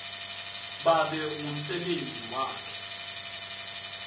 babe ngumsebenti wakhe